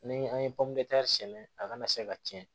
Ni an ye sɛnɛ a kana se ka tiɲɛ